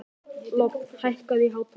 Lofn, hækkaðu í hátalaranum.